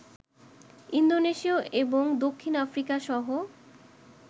Indonesia এবং দক্ষিণ আফ্রিকাসহ